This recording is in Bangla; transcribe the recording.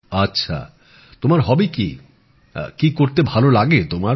আচ্ছা তোমার হবি কি কি করতে ভাল লাগে তোমার